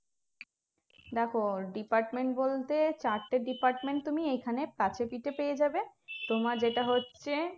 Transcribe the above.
দেখো department বলতে চারটে department তুমি এখানে কাছে পিঠে পেয়ে যাবে তোমার যেটা হচ্ছে